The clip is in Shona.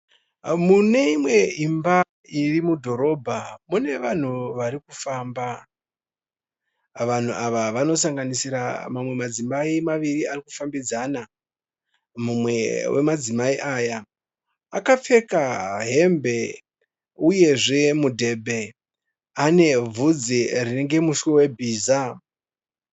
Mune imwe imba iri mudhorobha. Mune vanhu vari kufamba. Vanhu ava vanosanganisira mamwe madzimai maviri ari kufambidzana. Mumwe wemadzimai aya akapfeka hembe uyezve mudhebhe, ane bvunzi rinenge muswe webhiza.